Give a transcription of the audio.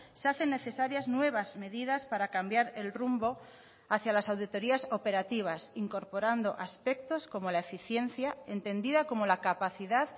se hacen necesarias nuevas medidas para cambiar el rumbo hacia las auditorias operativas incorporando aspectos como la eficiencia entendida como la capacidad